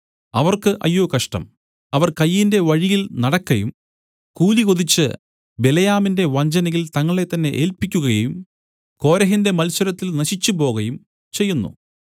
അവർക്ക് അയ്യോ കഷ്ടം അവർ കയീന്റെ വഴിയിൽ നടക്കയും കൂലി കൊതിച്ച് ബിലെയാമിന്റെ വഞ്ചനയിൽ തങ്ങളെത്തന്നെ ഏല്പിക്കുകയും കോരഹിന്റെ മത്സരത്തിൽ നശിച്ചുപോകയും ചെയ്യുന്നു